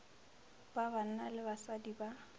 ba banna le basadi ba